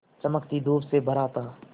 चमकती धूप से भरा था